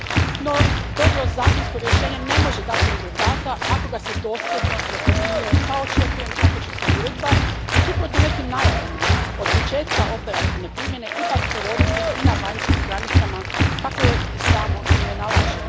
No, dobro zakonsko rješenje ne može dati rezultata ako ga se dosljedno ne primjenjuje pa očekujem kako će se uredba, suprotno nekim najavama, od početka operativne primjene ipak provoditi i na vanjskim granicama, kako joj i samo ime nalaže.